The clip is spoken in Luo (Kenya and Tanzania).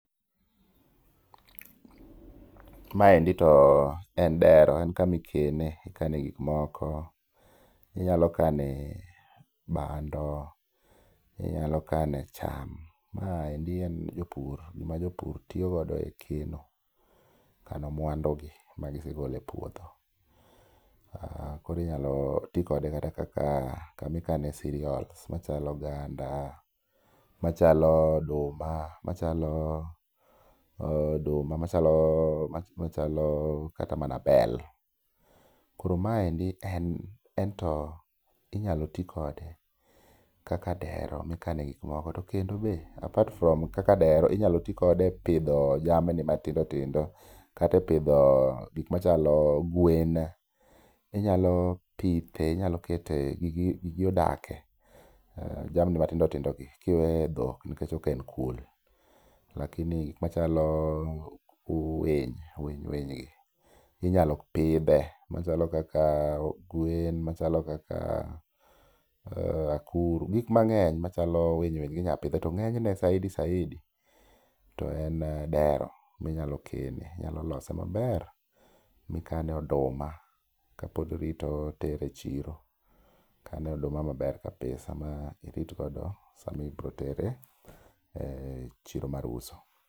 Maendi to en dero en kama ikene. Ikane gik moko inyalo kane bando, inyalo kane cham. Maeri en jopur, gima jopur tiyo god e keno, kano mwandugi ma gise golo e puodho. Inyalo ti kode kaka kama ikane cereals machalo oganda machalo oduma machalo machalo kata mana bel. Koro maendi ento inyalo ti kode kaka dero ma ikane gik moko to kendo be, apart from kaka dero, inyalo ti kode e pidho jamni matindo tindo kata epidho gik machalo gwen. Inyalo pithe inyalo kete gi gigi odakie, jamni matindo tindogi kiwe dhok nikech ok en pur. Gik machalo winy, winy gi inyalo pidhe machalo kaka gwen, machalo kaka akuru, gik mang'eny machalo winy winy gi inyalo pidhe to ng'eny ne saidi, saidi to en dero ma inyalo kene. Inyalo lose maber ma ikane oduma kapod irito tero e chiro. Ikane oduma maber kabisa ma irit godo sama ibiro tere e chiro mar uso.